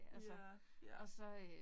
Ja, ja